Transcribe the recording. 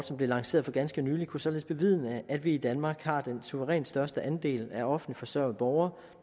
som blev lanceret for ganske nylig kunne således bevidne at vi i danmark har den suverænt største andel af offentligt forsørgede borgere